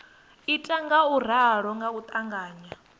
ita ngauralo nga u ṱavhanya